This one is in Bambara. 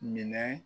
Minɛ